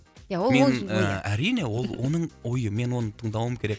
ия ол ойы әрине ол оның ойы мен оны тыңдауым керек